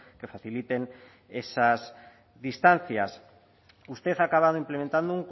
que faciliten esas distancias usted ha acabado implementando